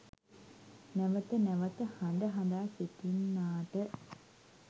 නැවත නැවත හඬ හඬා සිටින්නාට